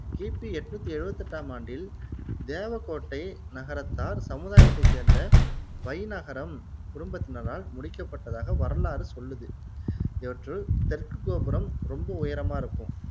கிபி எண்ணூத்தி எழுவத்தி எட்டாம் ஆண்டில் தேவக்கோட்டை நகரத்தார் சமுதாயத்தை சேர்ந்த வைநகரம் குடும்பத்தினரால் முடிக்கப்பட்டதாக வரலாறு சொல்லுது இவற்றுள் தெற்கு கோபுரம் ரொம்ப உயரமா இருக்கும்